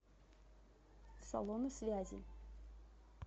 салоны связи